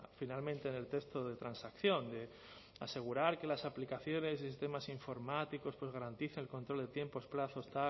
finalmente en el texto de transacción de asegurar que las aplicaciones y sistemas informáticos garantizan el control de tiempos plazos